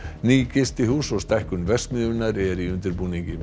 ný gistihús og stækkun verksmiðjunnar er í undirbúningi